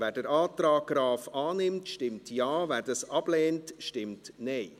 Wer den Antrag Graf annimmt, stimmt Ja, wer dies ablehnt, stimmt Nein.